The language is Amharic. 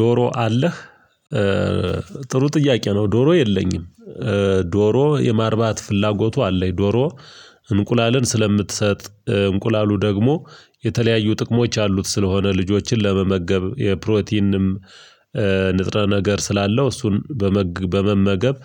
ዶሮ አለህ ጥሩ ጥያቄ ነው። ዶሮ የለኝም። ዶሮ የማርባት ፍላጎቱ አለኝ ዶሮ እንቁላልን ስለምትሰጥ እንቁላሉ ደግሞ የተለያዩ ጥቅሞች አሉት። ስለሆነ ልጆችን ለመመገብ የፕሮቲንም ንጥረ ነገር ስላለው እሱን በመመገብ